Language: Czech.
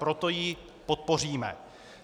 Proto ji podpoříme.